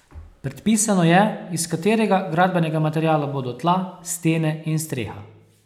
Predpisano je, iz katerega gradbenega materiala bodo tla, stene in streha.